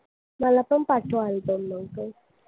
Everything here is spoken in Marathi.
मला पण पाठव आणि तो album